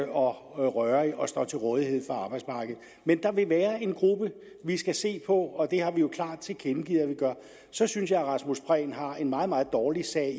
og rørig og står til rådighed for arbejdsmarkedet men der vil være en gruppe vi skal se på og det har vi jo klart tilkendegivet at vi gør så synes jeg at herre rasmus prehn har en meget meget dårlig sag